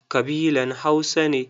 Kabilan Hausa ne.